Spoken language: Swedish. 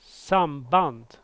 samband